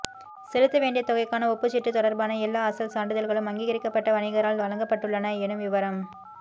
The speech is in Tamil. செலுத்த வேண்டிய தொகைக்கான ஒப்புச்சீட்டு தொடர்பான எல்லா அசல் சான்றிதழ்களும் அங்கீகரிக்கப்பட்ட வணிகரால் வழங்கப் பட்டுள்ளன எனும் விவரம்